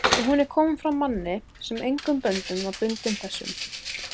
og hún er komin frá manni, sem engum böndum var bundinn þessum